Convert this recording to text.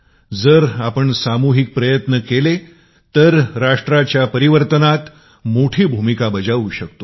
जर आपण सामुहिक प्रयत्न केला तर राष्ट्राच्या परिवर्तनामध्ये मोठी भूमिका बजावू शकतो